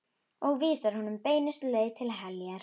Og vísar honum beinustu leið til heljar.